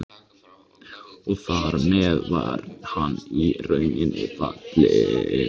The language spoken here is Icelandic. Og þar með var hann í rauninni fallinn.